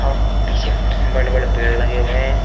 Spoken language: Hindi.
और पीछे बड़े बड़े पेड़ लगे हुए हैं।